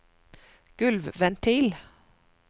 gulvventil